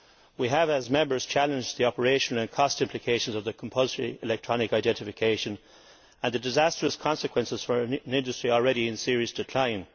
We have, as Members, challenged the operational and cost implications of the compulsory electronic identification, and the disastrous consequences for an industry already in serious decline.